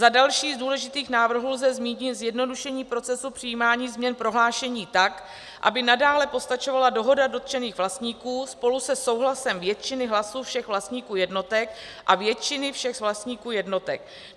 Za další z důležitých návrhů lze zmínit zjednodušení procesu přijímání změn prohlášení tak, aby nadále postačovala dohoda dotčených vlastníků spolu se souhlasem většiny hlasů všech vlastníků jednotek a většiny všech vlastníků jednotek.